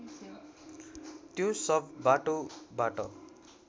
त्यो शव बाटोबाट